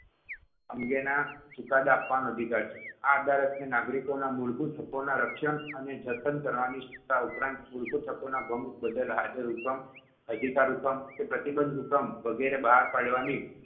અંગેના ચુકાદા આપવાનો અધિકાર છે. આ અદાલતને નાગરિકોના મૂળભૂત હકોના રક્ષણ અને જતન કરવાની સત્તા ઉપરાંત મુળભૂત હકોના ભંગ બદલ હાજર હુકમ, અધિકાર હુકમ કે પ્રતિબંધ હુકમ વગેરે બહાર પાડવાની